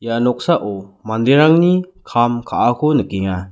ia noksao manderangni kam ka·ako nikenga.